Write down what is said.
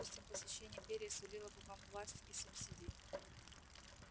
допустим посещение империи сулило бы вам власть и субсидии